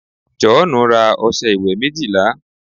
joonu ra ọsẹ iwe méjìlá